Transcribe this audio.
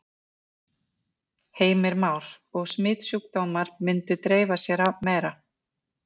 Heimir Már: Og smitsjúkdómar myndu dreifa sér meira?